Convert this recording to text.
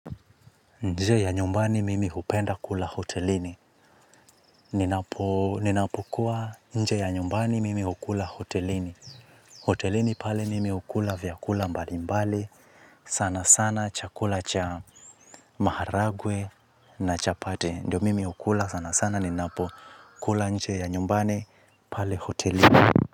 Nje ya nyumbani mimi hupenda kula hotelini, ninapo kuwa nje ya nyumbani mimi hukula hotelini, hotelini pale mimi hukula vyakula mbali mbali, sana sana chakula cha maharagwe na chapati ndio mimi hukula sana sana ninapo kula nje ya nyumbani pale hotelini.